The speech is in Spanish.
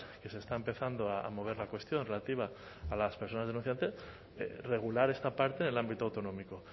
que se está empezando a mover la cuestión relativa a las personas denunciantes regular esta parte del ámbito autonómico